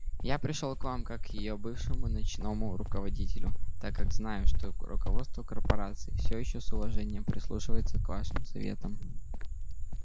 я пришёл к вам как к её бывшему научному руководителю так как знаю что руководство корпорации все ещё с уважением прислушивается к вашим советам